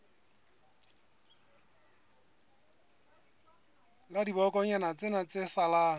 la dibokonyana tsena tse salang